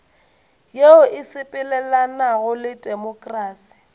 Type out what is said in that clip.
yeo e sepelelanago le temokrasi